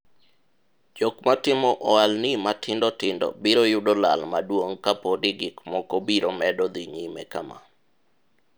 jok matimo ohalni matindo tindo biro yudo lal maduong' kapo ni gik moko biro medo dhi nyime kama